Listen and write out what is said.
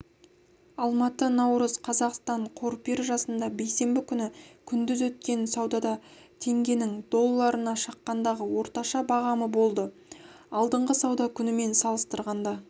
алматы наурыз қазақстан қор биржасында бейсенбі күні күндіз өткен саудада теңгенің долларына шаққандағы орташа бағамы болды алдыңғы сауда күнімен салыстырғанда